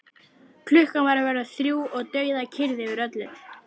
Þar sem ljóstíra í glugga gleður mann.